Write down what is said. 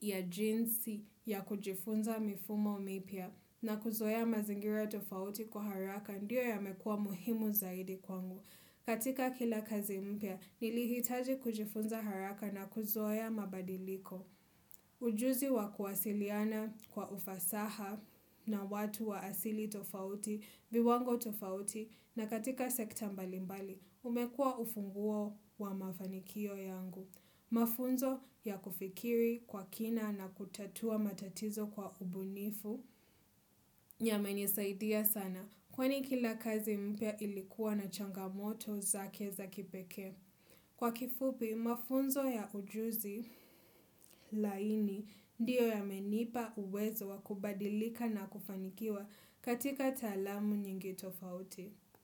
ya jinsi ya kujifunza mifumo mipya na kuzoea mazingira tofauti kwa haraka ndiyo yamekuwa muhimu zaidi kwangu. Katika kila kazi mpya, nilihitaji kujifunza haraka na kuzoea mabadiliko. Ujuzi wa kuwasiliana kwa ufasaha na watu wa asili tofauti, viwango tofauti, na katika sekta mbali mbali, umekua ufunguo wa mafanikio yangu. Mafunzo ya kufikiri kwa kina na kutatua matatizo kwa ubunifu. Yamenisaidia sana kwani kila kazi mpya ilikuwa ni changamoto zake za kipeke. Kwa kifupi, mafunzo ya ujuzi laini ndiyo yamenipa uwezo wa kubadilika na kufanikiwa katika talamu nyingi tofauti.